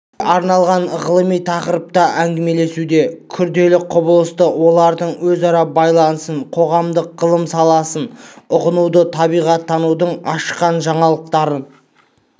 көпшілікке арналған ғылыми тақырыпта әңгімелесуде күрделі құбылысты олардың өзара байланысын қоғамдық ғылым саласынан ұғынуды табиғаттанудың ашқан жаңалықтарын